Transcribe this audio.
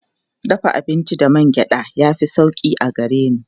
Dafa abinci da man gyaɗa ya fi sauƙi a gare ni.